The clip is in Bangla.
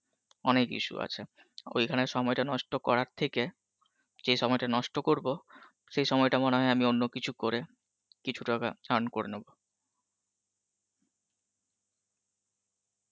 অনেক issue আছে, ঐখানে সময়টা নষ্ট করার থেকে যেই সময়টা নষ্ট করব সেই সময়টা মনে হয় আমি অন্য কিছু করে কিছু টাকা earn করে নেব